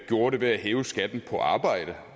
gjorde det ved at hæve skatten på arbejde